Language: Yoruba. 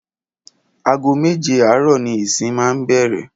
Aago méje àárò̩ ni ìsìn máa ń bè̩rè̩